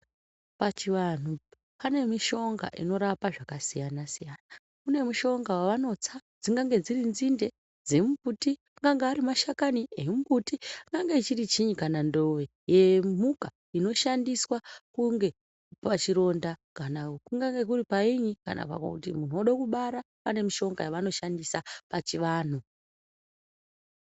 Pachivanhu pane mishonga inorapa zvakasiyana-siyana. Kune mushonga wavanotsa dzingange dziri nzinde dzemumbuti, angange ari mashakani emumbuti, angange chiri chiini, kana ndowe yemhuka, inoshandiswa kunge pachironda, kana kungange kuri paini, kana kuti munhu wode kubara, pane mishonga yavanoshandisa pachivanhu.